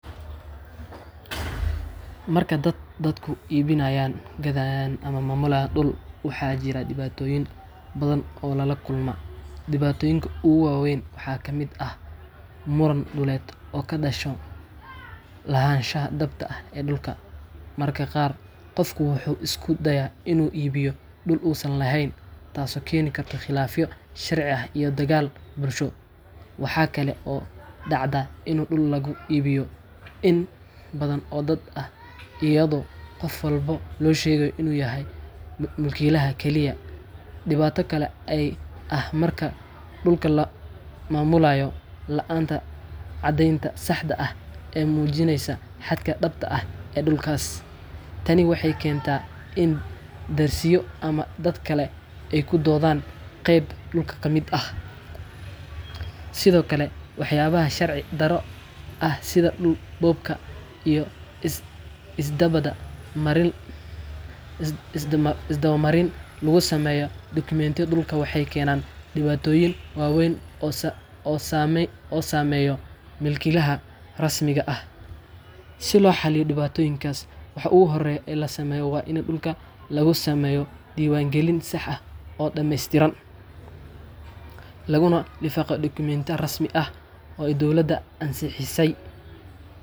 Marka dadku iibinayaan, gadanayaan, ama maamulayaan dhul, waxaa jira dhibaatooyin badan oo ay la kulmaan. Dhibaatooyinka ugu waa weyn waxaa ka mid ah muran dhuleed oo ka dhasha lahaanshaha dhabta ah ee dhulka. Mararka qaar, qofku wuxuu isku dayaa inuu iibiyo dhul uusan lahayn, taasoo keenta khilaafyo sharci ah iyo dagaal bulsho. Waxaa kale oo dhacda in dhul lagu iibiyo in badan oo dad ah iyadoo qof walba loo sheego inuu yahay mulkiilaha kaliya. Dhibaato kale ayaa ah marka dhulka la maamulayo la’aanta caddeyn sax ah oo muujinaysa xadka dhabta ah ee dhulkaas. Tani waxay keentaa in darisyo ama dad kale ay ku doodaan qayb dhulka ka mid ah. Sidoo kale, waxyaabaha sharci darro ah sida dhul boobka iyo isdaba marin lagu sameeyo dokumentiyada dhulka waxay keenaan dhibaatooyin waaweyn oo saameeya milkiilaha rasmiga ah. Si loo xalliyo dhibaatooyinkan, waxa ugu horreeya ee la sameeyo waa in dhulka laga sameeyo diiwaangelin sax ah oo dhameystiran, laguna lifaaqo dukumenti rasmi ah oo ay dowladda ansixisay.